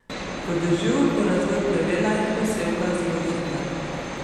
Po dežju bo razvoj plevela in posevka zelo hiter.